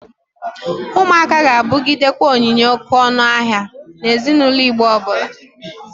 Ụmụaka ga-abụgidekwa onyinye oke ọnụ ahịa na ezinaulo Igbo ọbụla.